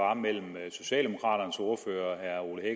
var mellem socialdemokraternes ordfører herre ole